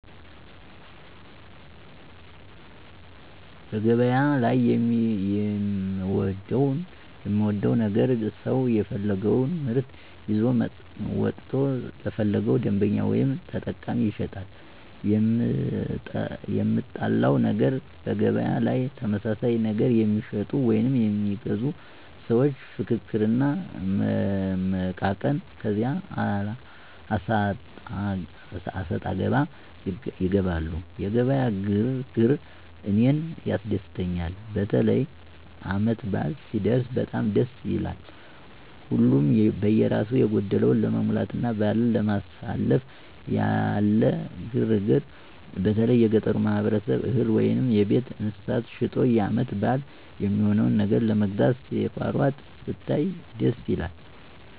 በገበያ ላይ የምወደው ነገር ሰው የፈለገወን ምርት ይዞ ወጥቶ ለፈለገው ደንበኛ ወይም ተጠቃሚ ይሸጣል። የምጠላው ነገር በገበያ ላይ ተመሳሳይ ነገር የሚሸጡ ወይም የሚገዙ ሰዎች ፍክክር እና መመቃቀን ከዚያ አሰጣገባ ይገባሉ። የገበያ ግር ግር እኔን ያስደስተኛል። በተለይ ዓመት በዓል ሲደረስ በጣም ደስ ይላል። ሀሉም በየራሱ የጎደለውን ለመሙላትና በዓልን ለማሳለፍ ያለ ግር ግር በተለይ የገጠሩ ማህበረሰብ እህል ወይም የቤት እንስሳት ሸጦ የዓመት በዓል የሚሆነውን ነገር ለመግዛት ሲሯሯጥ ስታይ ደስ ይላል።